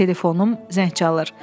Telefonum zəng çalır.